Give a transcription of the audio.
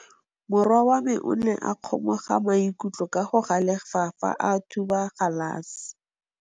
Morwa wa me o ne a kgomoga maikutlo ka go galefa fa a thuba galase.